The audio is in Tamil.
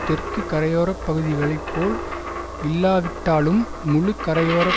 தெற்கு கரையோர பகுதிகளை போல் இல்லாவிட்டாலும் முழு கரையோர